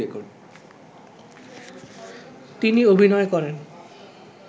তিনি অভিনয় করেন